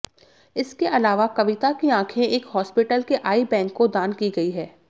इसके अलावा कविता की आंखें एक हॉस्पिटल के आइ बैंक को दान की गई हैं